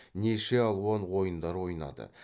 неше алуан ойындар ойнады